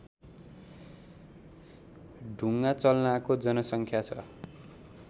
ढुङ्गाचल्नाको जनसङ्ख्या छ